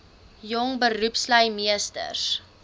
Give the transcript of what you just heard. jong beroepslui meesters